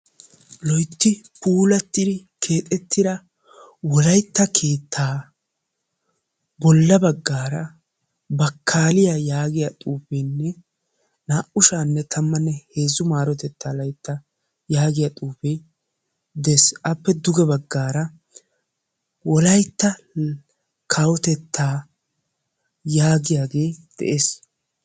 loytti puulatiddi keexxetida wolayttaa keetta bolla baggara bakkaliyaa yaagiyaa xuufe na"u shaa'anne tamanne heezzu maritetta laytta yaagiya xuufe de'ees; appe duge baggara wolaytta kawotetta yaagiyaage de'ees.